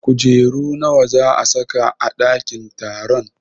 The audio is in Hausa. Kujeru nawa za a sa ka a ɗakin taron?